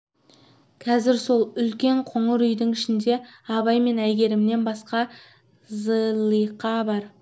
қазір сол үлкен қоңыр үйдің ішінде абай мен әйгерімнен басқа зылиқа бар